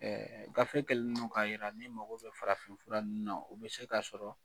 gafe kɛlen don k'a yira ni mago bɛ farafin fura ninnu na, o bɛ se ka sɔrɔ